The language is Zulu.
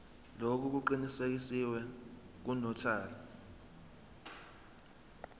lokhu kuqinisekiswe ngunotary